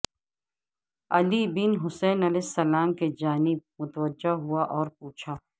علی بن حسین علیہ السلام کی جانب متوجہ ہوا اور پوچھا